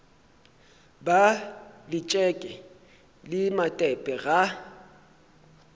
ba letšeke le matepe ga